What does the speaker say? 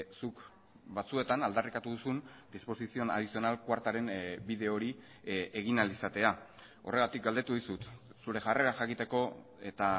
zuk batzuetan aldarrikatu duzun disposición adicional cuartaren bide hori egin ahal izatea horregatik galdetu dizut zure jarrera jakiteko eta